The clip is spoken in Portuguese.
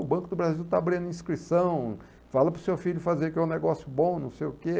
O Banco do Brasil está abrindo inscrição, fala para o seu filho fazer, que é um negócio bom, não sei o quê.